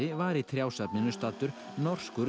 var í staddur norskur